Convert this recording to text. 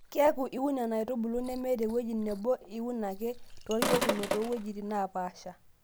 Kiaaku iun Nena aitubulu nemetewueji nebo iun ake toorkekunot too wuejitin neepaasha.